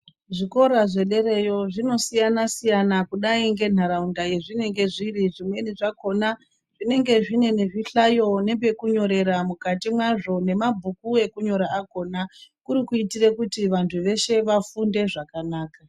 Zvikora zve derayo zvino siyana siyana kudai nge nharaunda yezvinenge zviri zvimweni zvakona zvinenge zvine nezvi hlayo nepeku nyorera mukati mwazvo ne mabhuku eku nyora akona kuri kuitire kuti vantu veshe vafunde zvakanaka.